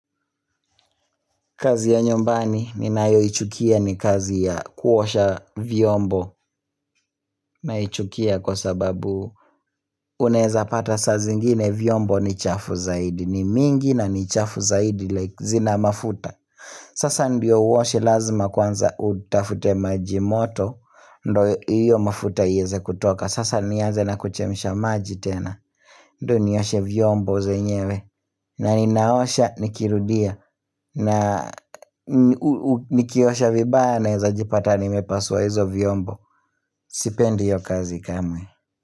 Kazi ya nyumbani ninayoichukia ni kazi ya kuosha vyombo. Naichukia kwa sababu unaweza pata saa zingine vyombo ni chafu zaidi ni mingi na ni chafu zaidi like zina mafuta Sasa ndiyo uoshe lazima kwanza utafute maji moto ndo hiyo mafuta iweze kutoka sasa nianze na kuchemsha maji tena ndo nioshe vyombo zenyewe na ninaosha nikirudia na nikiosha vibaya naweza jipata nimepasua hizo vyombo Sipendi hiyo kazi kamwe.